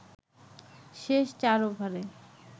শেষ ৪ ওভারে